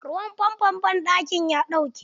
Ruwan fanfon banɗakin ya ɗauke.